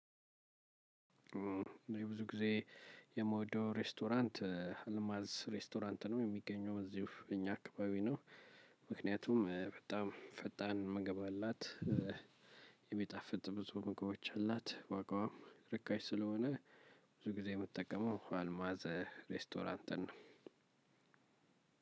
ብዙ ጊዜ የምወደው ሬስቶራንት አልማዝ ሬስቶራንት ነው የሚገኘው እዚሁ እኛ አካባቢ ነው። ምክንያቱም በጣም ፈጣን ምግብ መብላት። ብዙ ምግቦች አላት ዋጋዋም ርካሽ ስለሆነ። ብዙ ጊዜ የምትጠቀመው አልማዘ ሬስቶራንትን ነው።